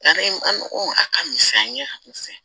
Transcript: Yanni an ko a ka misɛn